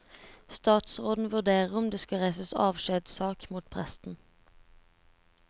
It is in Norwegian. Statsråden vurderer om det skal reises avskjedssak mot presten.